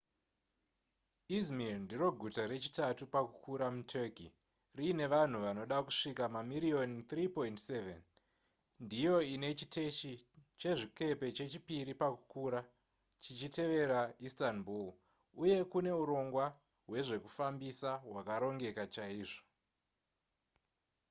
izmir ndiro guta rechitatu pakukura muturkey riine vanhu vanoda kusvika mamiriyoni 3.7 ndiyo ine chiteshi chezvikepe chechipiri pakukura chichitevera istanbul uye kune urongwa hwezvekufambisa hwakarongeka chaizvo